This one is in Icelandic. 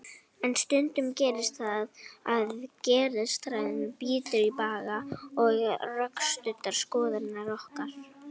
En stundum gerist það að geðshræring brýtur í bága við rökstuddar skoðanir okkar.